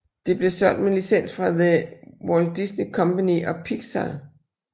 Det blev solgt med licens fra The Walt Disney Company og Pixar